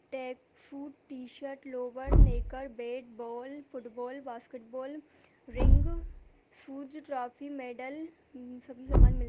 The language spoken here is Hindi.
track suit T-shirt lower nicker bat ball football basketball ring shoes trophy medal सभी समान मिल --